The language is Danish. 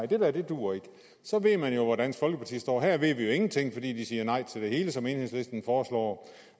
det der duer ikke så ville man jo vide hvor dansk folkeparti stod her ved vi ingenting fordi de siger nej til alt det som enhedslisten foreslår